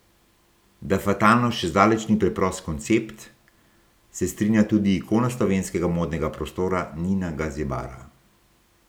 Da fatalnost še zdaleč ni preprost koncept, se strinja tudi ikona slovenskega modnega prostora Nina Gazibara.